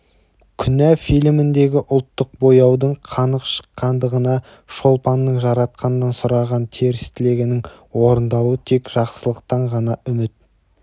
күнә фильміндегі ұлттық бояудың қанық шыққандығына шолпанның жаратқаннан сұраған теріс тілегінің орындалуы тек жақсылықтан ғана үміт